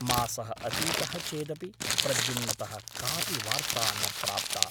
मासः अतीतः चेदपि प्रद्युम्नतः कापि वार्ता न प्राप्ता ।